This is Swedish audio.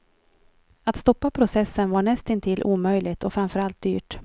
Att stoppa processen var nästintill omöjligt och framförallt dyrt.